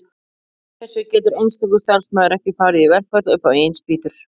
samkvæmt þessu getur einstakur starfsmaður ekki farið í verkfall upp á eigin spýtur